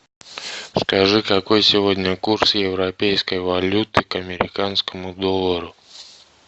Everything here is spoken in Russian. скажи какой сегодня курс европейской валюты к американскому доллару